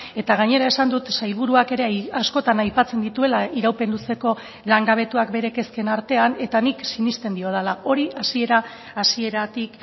eta gainera esan dut sailburuak ere askotan aipatzen dituela iraupen luzeko langabetuak bere kezken artean eta nik sinesten diodala hori hasiera hasieratik